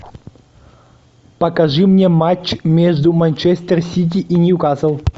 покажи мне матч между манчестер сити и ньюкасл